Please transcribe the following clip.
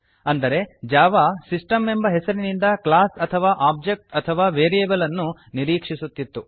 ಅಂದರೆ Java system ಎಂಬ ಹೆಸರಿನಿಂದ ಕ್ಲಾಸ್ ಅಥವಾ ಒಬ್ಜೆಕ್ಟ್ ಅಥವಾ ವೇರಿಯೇಬಲ್ ಅನ್ನು ನಿರೀಕ್ಷಿಸುತ್ತಿತ್ತು